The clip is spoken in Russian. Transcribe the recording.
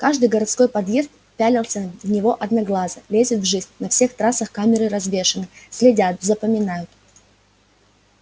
каждый городской подъезд пялится в тебя одноглазо лезет в жизнь на всех трассах камеры развешаны следят запоминают